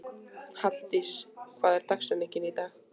Halldís, hver er dagsetningin í dag?